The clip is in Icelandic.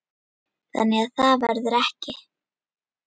Þannig að það verður ekki.